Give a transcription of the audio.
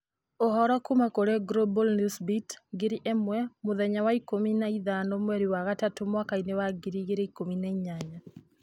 Ũhoro kuuma kũrĩ Global Newsbeat: Ngiri ĩmwe Muthenya wa ikũmi na ithano mweri wa gatatũ mwaka wa ngiri igĩrĩ na ikũmi na inyanya